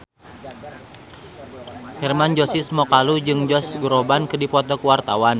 Hermann Josis Mokalu jeung Josh Groban keur dipoto ku wartawan